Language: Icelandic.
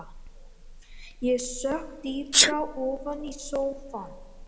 Ég sökk dýpra ofan í sófann.